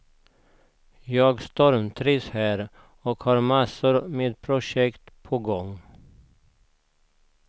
Jag stormtrivs här, och har massor med projekt på gång.